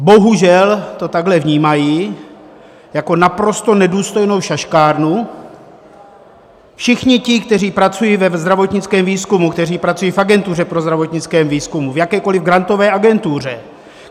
Bohužel to takhle vnímají: jako naprosto nedůstojnou šaškárnu, všichni ti, kteří pracují ve zdravotnickém výzkumu, kteří pracují v Agentuře pro zdravotnický výzkum, v jakékoli grantové agentuře.